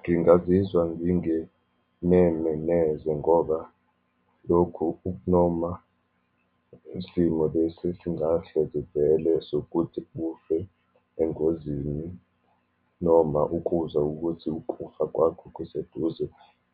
Ngingazizwa ngingeneme neze ngoba lokhu kuk'noma isimo lesi esingahle sivele sokuthi ufe engozini, noma ukuzwa ukuthi ukufa kwakho kuseduze,